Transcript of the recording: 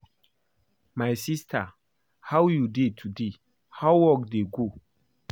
My sister how you dey today? How work dey go?